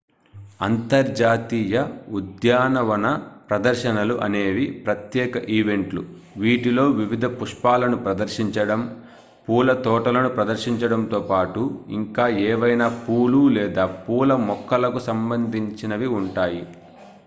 అంతర్జాతీయ ఉద్యానవన ప్రదర్శనలు అనేవి ప్రత్యేక ఈవెంట్లు వీటిలో వివిధ పుష్పాలను ప్రదర్శించడం పూల తోటలను ప్రదర్శించడంతో పాటు ఇంకా ఏవైనా పూలు లేదా పూల మొక్కలకు సంబంధించినవి ఉంటాయి